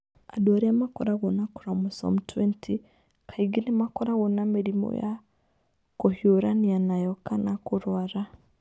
Andũ arĩa makoragwo na chromosome 20 kaingĩ nĩ makoragwo na mĩrimũ ya kũhiũrania nayo kana kũrũara.